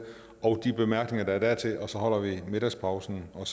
og de korte bemærkninger der er dertil og så holder vi middagspausen og